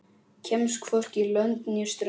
Kemst hvorki lönd né strönd.